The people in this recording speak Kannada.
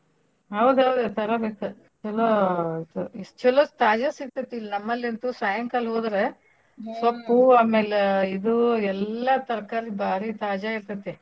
ಹೌದ್ ಹೌದ್ ತರಬೇಕ ಚಲೋ ಇದು ಚಲೋ ತಾಜಾ ಸಿಗತೇತ್ ಇಲ್ ನಮ್ಮಲಂತೂ ಸಾಯಂಕಾಲ ಹೋದ್ರ ಸೊಪ್ಪು ಆಮೇಲ ಇದು ಎಲ್ಲಾ ತರ್ಕಾರಿ ಬಾರಿ ತಾಜಾ ಇರ್ತೇತಿ.